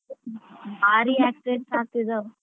ಭಾರಿ accident ಆಗ್ತಿದಾವ್.